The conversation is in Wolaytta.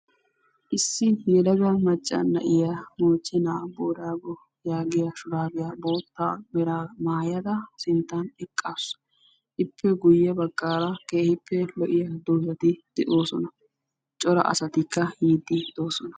Issi yelaga macca na'iyaa moochchena boorago yaagiyaa shuraabiyaa bootta meraa maayada sinttan eqqasu. ippe guye baggaara keehippe lo'iyaa doozati doosona. cora asatikka yiiddi de'oosona.